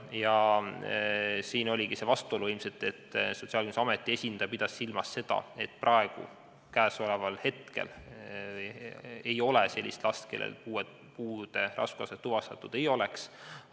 Vastuolu oligi siin ilmselt selles, et Sotsiaalkindlustusameti esindaja pidas silmas seda, et praegu, käesoleval hetkel ei ole ühtegi sellist puudega last, kellel puude raskusastet tuvastatud ei oleks.